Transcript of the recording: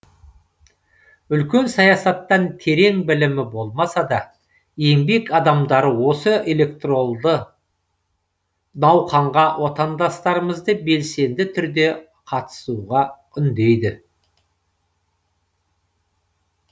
үлкен саясаттан терең білімі болмаса да еңбек адамдары осы электоралды науқанға отандастарымызды белсенді түрде қатысуға үндейді